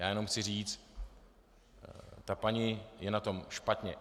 Já jenom chci říci, ta paní je na tom špatně.